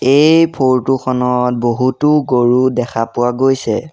এই ফৰটো খনত বহুতো গৰু দেখা পোৱা গৈছে।